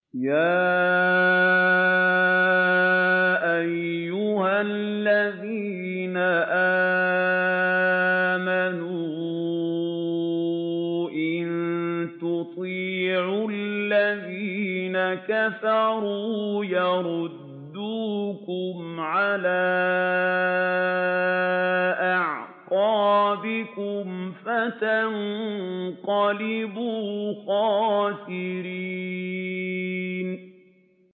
يَا أَيُّهَا الَّذِينَ آمَنُوا إِن تُطِيعُوا الَّذِينَ كَفَرُوا يَرُدُّوكُمْ عَلَىٰ أَعْقَابِكُمْ فَتَنقَلِبُوا خَاسِرِينَ